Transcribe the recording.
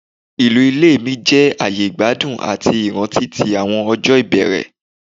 Ilu ile mi jẹ aaye igbadun ati iranti ti awọn ọjọ ibẹrẹ